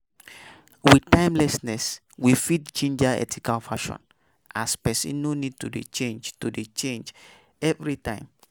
With timelessness we fit ginger ethical fashion as person no need to dey change to dey change style every time